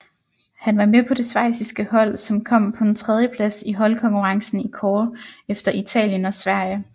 Han var med på det schweiziske hold som kom på en tredjeplads i holdkonkurrencen i kårde efter Italien og Sverige